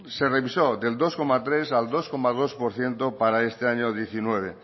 se revisó del dos coma tres al dos coma dos por ciento para este año diecinueve